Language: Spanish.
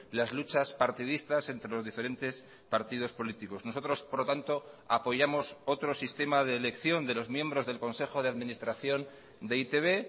las luchas partidistas entre los diferentes partidos políticos nosotros por lo tanto apoyamos otro sistema de elección de los miembros del consejo de administración de e i te be